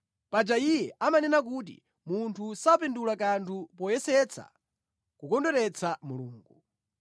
Paja iye amanena kuti, ‘Munthu sapindula kanthu poyesetsa kukondweretsa Mulungu.’